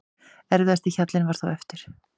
Erfiðasti hjallinn var þó eftir.